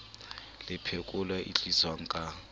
le phekolo e tliswang ka